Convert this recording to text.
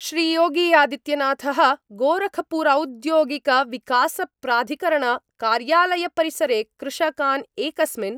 श्रीयोगी आदित्यनाथ: गोरखपुरौद्योगिकविकासप्राधिकरणकार्यालयपरिसरे कृषकान् एकस्मिन्